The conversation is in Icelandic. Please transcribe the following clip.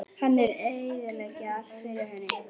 Hann er að eyðileggja allt fyrir henni.